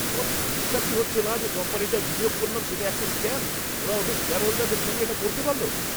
আমার তো বিশ্বাসই হচ্ছে না যে কোম্পানিটায় বিনিয়োগ করলাম সেটা একটা স্ক্যাম। ওরা ওদের শেয়ারহোল্ডারদের সঙ্গে এটা করতে পারল?